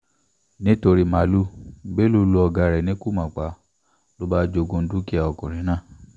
nítorí màálùú bello lu ọ̀gá ẹ̀ ní kùmọ̀ pa ló bá jogún dúkìá ọkùnrin náà